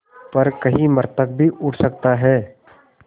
पर कहीं मृतक भी उठ सकता है